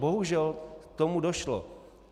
Bohužel k tomu došlo.